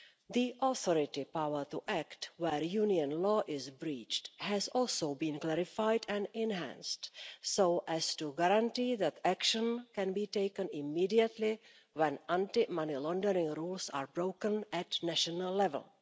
The authority's power to act where union law is breached has also been clarified and enhanced so as to guarantee that action can be taken immediately when anti money laundering rules are broken at national level.